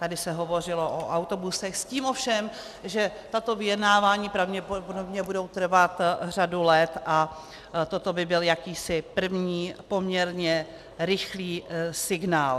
Tady se hovořilo o autobusech s tím ovšem, že tato vyjednávání pravděpodobně budou trvat řadu let a toto by byl jakýsi první, poměrně rychlý signál.